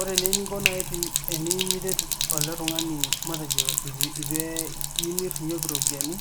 Ore naa eninko nayi teniyiu niret ele tung'ani matejo eitu imirr irropiyiani